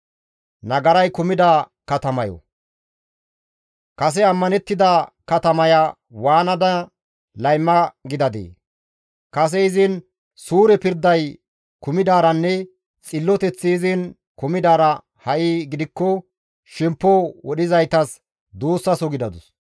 Kase ammanettida katamaya waanada layma gidadee? Kase izin suure pirday kumidaaranne xilloteththi izin kumidaara ha7i gidikko shemppo wodhizaytas duussaso gidadus.